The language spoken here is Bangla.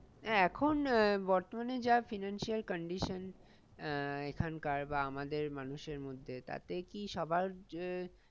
এখন আহ বর্তমানে যা financial condition আহ এখানকার বা আমাদের মানুষের মধ্যে তাতে কি সবার আহ